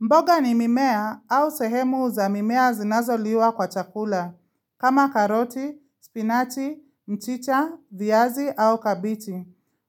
Mboga ni mimea au sehemu za mimea zinazo liwa kwa chakula, kama karoti, spinachi, mchicha, viazi au kabichi.